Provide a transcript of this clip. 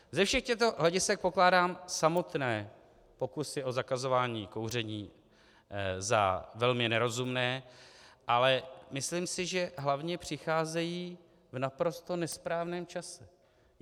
Ze všech těchto hledisek pokládám samotné pokusy o zakazování kouření za velmi nerozumné, ale myslím si, že hlavně přicházejí v naprosto nesprávném čase.